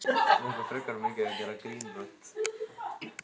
Alida, hvenær kemur vagn númer fjörutíu og fjögur?